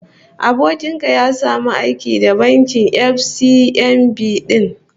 Abokin ka ya samu aiki da bankin FCMB din?